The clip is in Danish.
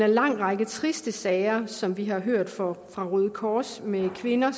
en lang række triste sager som vi har hørt om fra røde kors med kvinder